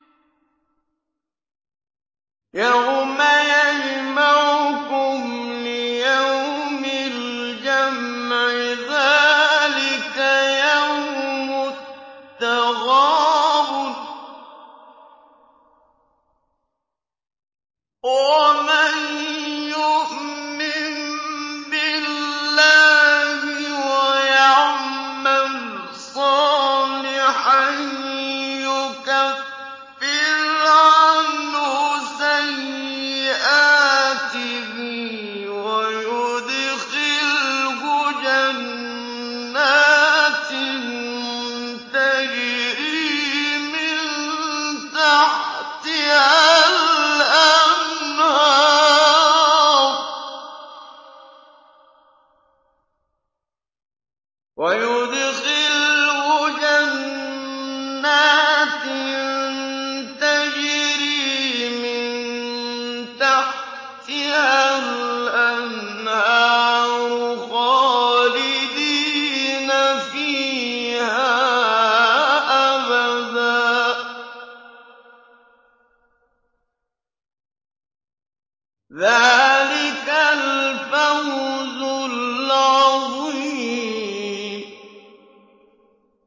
يَوْمَ يَجْمَعُكُمْ لِيَوْمِ الْجَمْعِ ۖ ذَٰلِكَ يَوْمُ التَّغَابُنِ ۗ وَمَن يُؤْمِن بِاللَّهِ وَيَعْمَلْ صَالِحًا يُكَفِّرْ عَنْهُ سَيِّئَاتِهِ وَيُدْخِلْهُ جَنَّاتٍ تَجْرِي مِن تَحْتِهَا الْأَنْهَارُ خَالِدِينَ فِيهَا أَبَدًا ۚ ذَٰلِكَ الْفَوْزُ الْعَظِيمُ